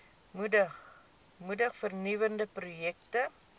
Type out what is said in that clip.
moedig vernuwende projekte